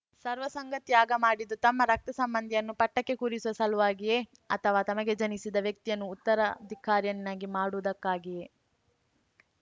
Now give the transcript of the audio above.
ಸರ್ವಸಂಗ ತ್ಯಾಗ ಮಾಡಿದ್ದು ತಮ್ಮ ರಕ್ತಸಂಬಂಧಿಯನ್ನು ಪಟ್ಟಕ್ಕೆ ಕೂರಿಸುವ ಸಲುವಾಗಿಯೇ ಅಥವಾ ತಮಗೆ ಜನಿಸಿದ ವ್ಯಕ್ತಿಯನ್ನು ಉತ್ತರಾಧಿಕಾರಿಯನ್ನಾಗಿ ಮಾಡುವುದಕ್ಕಾಗಿಯೆ